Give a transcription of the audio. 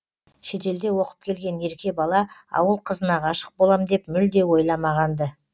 шетелде оқып келген ерке бала ауыл қызына ғашық болам деп мүлде ойламаған ды